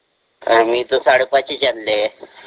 मी तर साडेपाचीच आणले